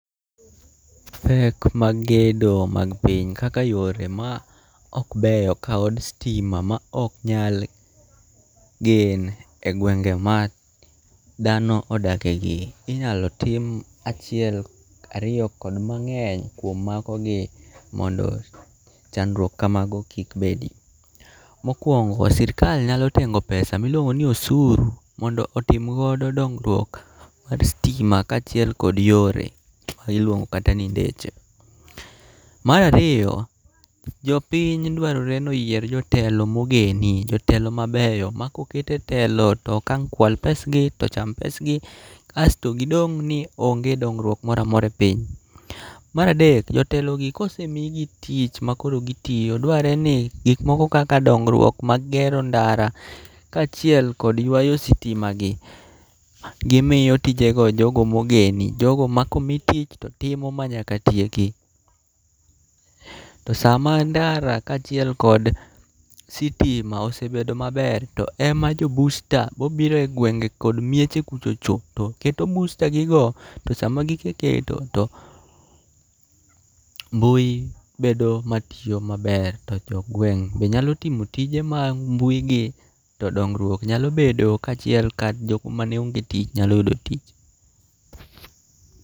Pek mag gedo mag piny kaka yore ma ok beyo kaod stima ma ok nyal gen e gwenge ma dhano odakegi. Inyalo tim achiel ariyo kod mang'eny kuom mago gi mondo chandruok ka mago kik bedi. Mokwongo sirkal nyalo tengo pesa miluongo ni osuru, mondo otimgodo dongruok mar stima kaachiel kod yore ma iluongo kata ni ndeche. Marariyo, jopiny dwarore noyier jotelo mogeni, jotelo mabeyo ma koket e telo tok ang' kwal pes gi tocham pesgi. Kasto gidong' ni onge dongruok moramora e piny. Maradek, jotelo gi kosemigi tich ma koro gitiyo, dwarre ni gik moko kaka dongruok mag gero ndara kaachiel kod ywayo sitima gi,. Gimiyo tijego jogo mogeni, jogo ma komi tich to timo ma nyaka tieki. To sama ndara kaachiel kod sitima osebedo maber ema jo busta mobiro e gwenge kod mieche kuchocho to keto bustagigo. To sama giseketo to mbui bedo ma tiyo maber, to jogweng' be nyalo timo tije mag mbui gi. To dongruok nyalo bedo kaachiel ka jok maneonge tich nyalo yudo tich.